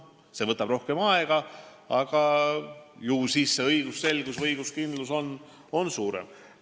See võtab rohkem aega, aga ju siis on õigusselgus või õiguskindlus suurem.